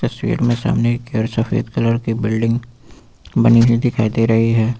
तस्वीर में सामने एक सफेद कलर की बिल्डिंग बनी हुई दिखाई दे रही है।